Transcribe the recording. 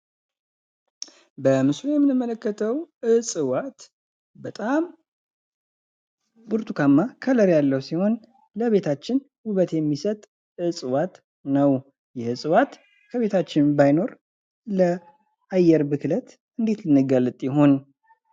በምስሉ የምንመለከተው ዕጽዋት በጣም ብርቱካናማ ከለር ያለው ሲሆን ለቤታችን ውበት የሚሰጥ ዕጽዋት ነው። ይህ ዕጽዋት ከቤታችን ባይኖር ለአየር ብክለት እንዴት እንጋለጥ ይሆን?